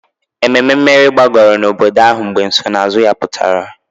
Ememe mmeri gbagoro n'obodo ahụ mgbe nsonaazụ ya pụta